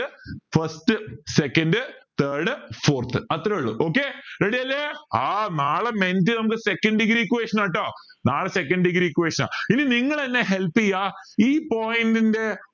first second third fourth അത്രയേ ഇള്ളു okay ready അല്ലെ ആ നാളെ മെൻഡി നമുക്ക് second degree equation ആട്ടോ നാളെ second degree equation ആ ഇനി നിങ്ങൾ എന്നെ help ചെയ ഈ point ൻ്റെ